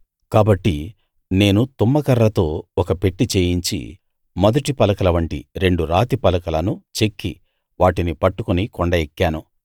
కాబట్టి నేను తుమ్మకర్రతో ఒక పెట్టె చేయించి మొదటి పలకలవంటి రెండు రాతి పలకలను చెక్కి వాటిని పట్టుకుని కొండ ఎక్కాను